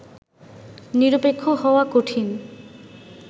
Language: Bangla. নিরপেক্ষ হওয়া কঠিন